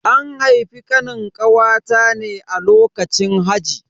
An haifi Kanin kawata ne a lokacin haji.